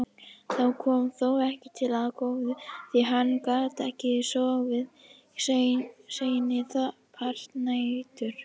Það kom þó ekki til af góðu því hann gat ekki sofið seinni part nætur.